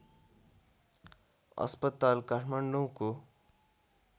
अस्पताल काठमाडौँको